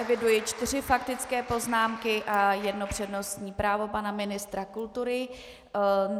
Eviduji čtyři faktické poznámky a jedno přednostní právo pana ministra kultury.